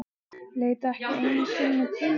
Leit ekki einu sinni til mín.